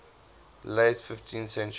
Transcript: late fifteenth century